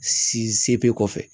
kɔfɛ